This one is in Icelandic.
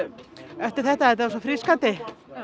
eftir þetta þetta var svo frískandi